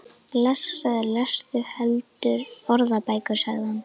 Blessaður lestu heldur orðabækur, sagði hann.